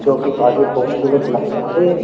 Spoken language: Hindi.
जोकि काफी खूबसूरत लगता है ये।